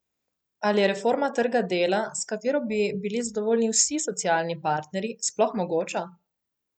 Ali je reforma trga dela, s katero bi bili zadovoljni vsi socialni partnerji, sploh mogoča?